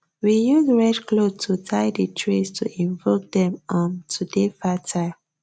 we use red cloth to tie di trees to invoke dem um to dey fertile